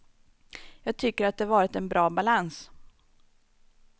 Jag tycker att det varit en bra balans.